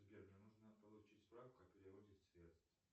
сбер мне нужно получить справку о переводе средств